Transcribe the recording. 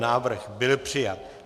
Návrh byl přijat.